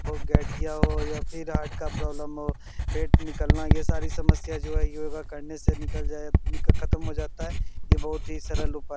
ब गठिया हो या फिर हार्ट का प्रोब्लम हो पेट निकलना ये सारी समस्या जो है योगा करने से निकल जाएगा खत्म हो जाता है। यह बहुत ही सरल उपाए -